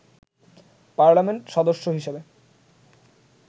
parliament সদস্য হিসেবে